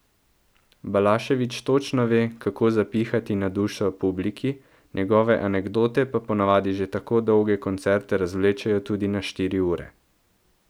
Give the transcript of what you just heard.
Balašević točno ve, kako zapihati na dušo publiki, njegove anekdote pa ponavadi že tako dolge koncerte razvlečejo tudi na štiri ure.